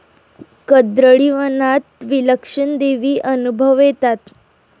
कर्दळीवनात विलक्षण दैवी अनुभव येतात.